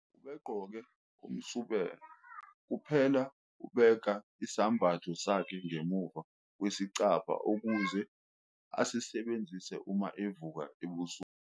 ubegqoke umsubela kuphelaubeka isambatho sakhe ngemuva kwesicabha ukuze asisebenzise uma evuka ebusuku